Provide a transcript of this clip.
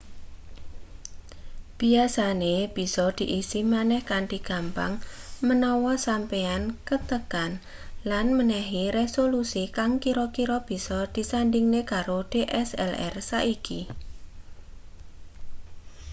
biasane bisa diisi maneh kanthi gampang menawa sampeyan kentekan lan menehi resolusi kang kira-kira bisa disandhingne karo dslr saiki